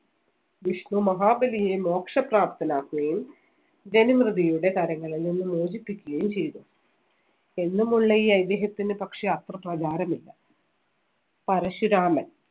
വിഷ്ണു മഹാബലിയെ മോക്ഷ പ്രാപ്തനാക്കുകയും ജനമ്രിതിയുടെ കരങ്ങളിൽ നിന്ന് മോചിപ്പിക്കുകയും ചെയ്തു. എന്നുമുള്ള ഈ ഐതിഹ്യത്തിന് പക്ഷേ അത്ര പ്രചാരമില്ല. പരശുരാമൻ.